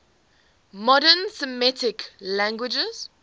modern semitic languages